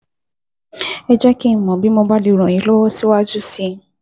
Ẹ jẹ́ kí n mọ̀ bí mo bá lè ràn yín lọ́wọ́ síwájú sí i